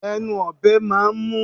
Ẹnu ọ̀bẹ máà ń mú